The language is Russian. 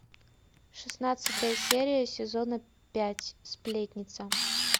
шестнадцатая серия сезона пять сплетница